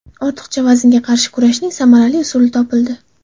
Ortiqcha vaznga qarshi kurashning samarali usuli topildi.